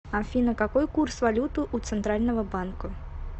афина какой курс валюты у центрального банка